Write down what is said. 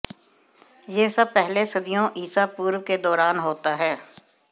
यह सब पहले सदियों ईसा पूर्व के दौरान होता है